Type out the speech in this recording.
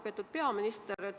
Lugupeetud peaminister!